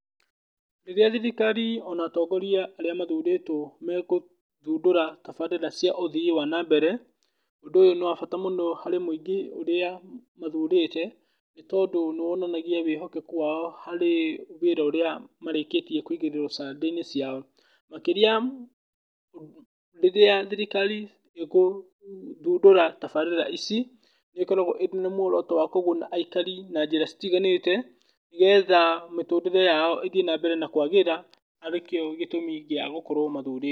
Rĩrĩa thirikari ona atongoria arĩa mathurĩtwo megũthundũra tabarĩra cia ũthii wa na mbere, ũndũ ũyũ nĩ wa bata mũno harĩ mũingĩ ũrĩa mathurĩte, nĩ tondũ nĩ wonanagia wĩhokekeku wao harĩ wĩra ũrĩa marĩkĩtie kũigĩrĩrwo ciande-inĩ ciao. Makĩria, rĩrĩa thirikari ĩkũthundũra tabarĩra ici, nĩ ĩkoragwo ĩna mwĩhoko wa kũguna aikari na njĩra citiganĩte, nĩgetha mĩtũrĩre yao ĩthiĩ na mbere na kwagĩra, arĩ kĩo gĩtũmi gĩa gũkorwo mathurĩtwo.